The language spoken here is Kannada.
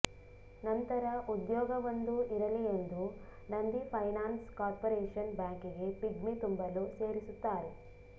ನಂತರ ಉದ್ಯೋಗವೊಂದು ಇರಲಿ ಎಂದು ನಂದಿ ಫೈನಾನ್ಸ್ ಕಾರ್ಪೋರೇಶನ್ ಬ್ಯಾಂಕಿಗೆ ಪಿಗ್ಮಿ ತುಂಬಲು ಸೇರಿಸುತ್ತಾರೆ